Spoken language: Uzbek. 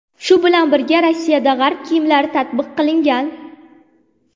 Shu bilan birga, Rossiyada g‘arb kiyimlari tatbiq qilingan.